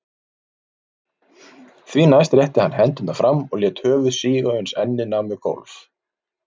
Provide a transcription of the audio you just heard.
Því næst rétti hann hendurnar fram og lét höfuð síga uns ennið nam við gólf.